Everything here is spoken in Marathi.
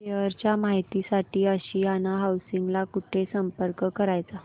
शेअर च्या माहिती साठी आशियाना हाऊसिंग ला कुठे संपर्क करायचा